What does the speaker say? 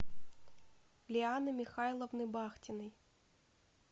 лианы михайловны бахтиной